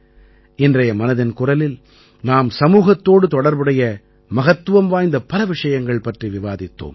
இன்றைய மனதின் குரலில் நாம் சமூகத்தோடு தொடர்புடைய மகத்துவம் வாய்ந்த பல விஷயங்கள் பற்றி விவாதித்தோம்